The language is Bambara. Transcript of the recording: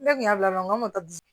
Ne kun y'a bila n ko bi